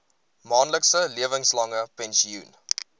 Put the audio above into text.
maandelikse lewenslange pensioen